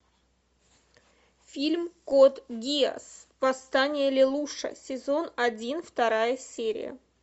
фильм код гиас восстание лелуша сезон один вторая серия